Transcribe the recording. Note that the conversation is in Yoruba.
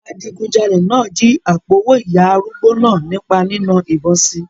Adigunjalè náà jí àpò-owó ìyá arúgbó náà nípa nína ìbọn si.